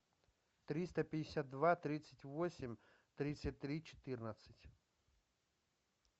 триста пятьдесят два тридцать восемь тридцать три четырнадцать